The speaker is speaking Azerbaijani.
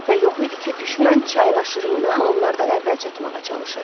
Şübhə yox idi ki, düşmən çayın aşırımına onlardan əvvəl çatmağa çalışır.